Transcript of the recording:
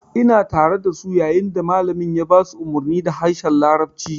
Ina tare dasu yayin da malamin ya ba su umarni da harshen larabci